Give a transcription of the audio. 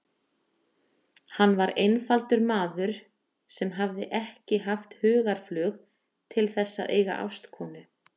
Hann var einfaldur maður sem hefði ekki haft hugarflug til þess að eiga ástkonu.